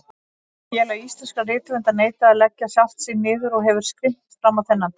Félag íslenskra rithöfunda neitaði að leggja sjálft sig niður og hefur skrimt frammá þennan dag.